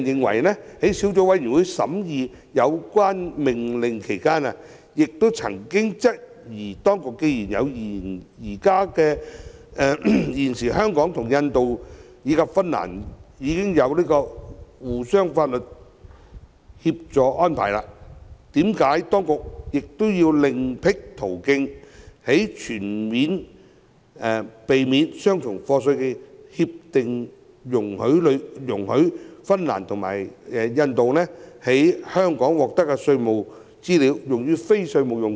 相關小組委員會審議該兩項命令時亦曾質疑，既然現時香港與印度及芬蘭已設有相互法律協助安排，為何當局仍要另闢蹊徑，在全面性協定中容許印度和芬蘭政府利用從香港獲取的稅務資料以作非稅務用途？